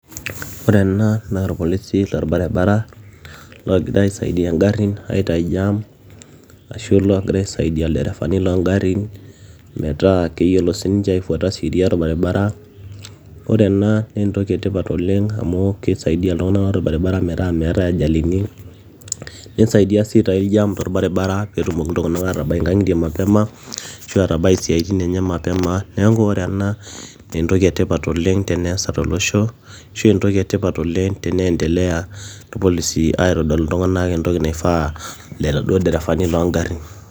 ore ena naa irpolisi lorbaribaara loogira aisaidia ingarrin aitai jam ashu loogira aisaidia ilderefani loongarrin metaa keyiolo sininche aifuata sheria orbaribara ore ena naa entoki etipat oleng amu kisaidia iltung'anak otii orbaribara metaa meetae ajalini nisaidia sii aitai jam torbaribara peetumoki iltung'anak atabai inkang'itie mapema ashua atabai isiaitin enye mapema neeku ore ena naa entoki etipat oleng teneesa tolosho ashu entoki etipat oleng teneendelea irpolisi aitodol oltung'anak entoki naifaa iladuo dereefani loongarrin.